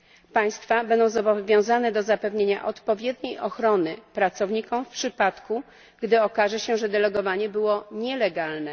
Państwa będą zobowiązane do zapewnienia odpowiedniej ochrony pracownikom w przypadku, gdy okaże się, że delegowanie było nielegalne.